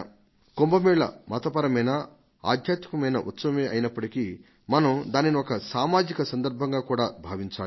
కుంభ మేళ మతపరమైన ఆధ్యాత్మికమైన ఉత్సవమే అయినప్పటికీ మనం దానిని ఒక సామాజిక సందర్భంగా కూడా భావించాలి